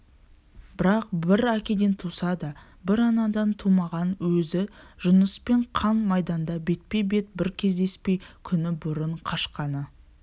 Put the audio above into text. бірақ бір әкеден туса да бір анадан тумаған өзі жұныспен қан майданда бетпе-бет бір кездеспей күні бұрын қашқаны